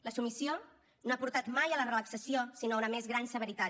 la submissió no ha portat mai a la relaxació sinó a una més gran severitat